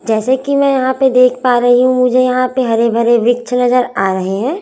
जैसे की मैं यहाँ पे देख पा रहीं हूंँ मुझे यहाँ पे हरे भरे वृक्ष नजर आ रहें हैं।